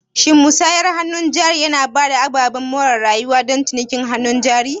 Shin musayar hannun jari yana ba da ababen more rayuwa don cinikin hannun jarin?